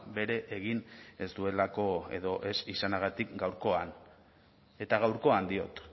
bere egin ez duelako edo ez izanagatik gaurkoan eta gaurkoan diot